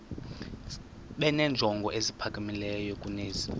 benenjongo eziphakamileyo kunezi